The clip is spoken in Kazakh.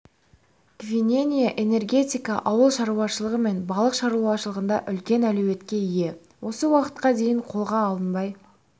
гвиненя энергетика ауыл шаруашылығы мен балық шаруашылығында үлкен әлеуетке ие осы уақытқа дейін қолға алынбай